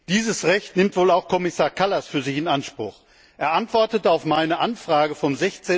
Dieses Recht nimmt wohl auch Kommissar Kallas für sich in Anspruch. Er antwortete auf meine Anfrage vom